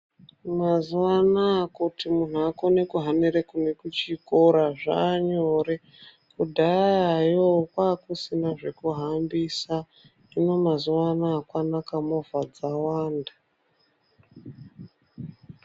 Mazuwa anaya kuti munhu akone kuhambire kune kuchikora zvaanyore. Kudhayayo kwaakusina zvekuhambisa hino mazuwa anaa kwakanaka movha dzawanda.